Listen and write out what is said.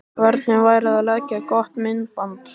Hvernig væri að leigja gott myndband?